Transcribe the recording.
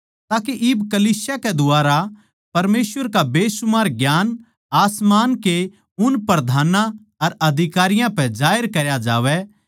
ताके इब कलीसिया कै द्वारा परमेसवर का बेसुमार ज्ञान आसमान के उन प्रधानां अर अधिकारियां पै जाहिर करया जावै